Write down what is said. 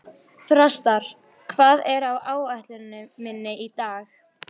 Þrastar, hvað er á áætluninni minni í dag?